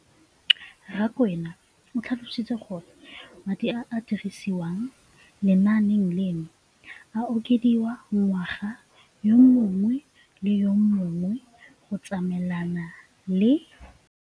Rakwena o tlhalositse gore madi a a dirisediwang lenaane leno a okediwa ngwaga yo mongwe le yo mongwe go tsamaelana le